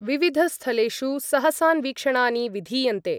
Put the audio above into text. विविधस्थलेषु सहसान्वीक्षणानि विधीयन्ते।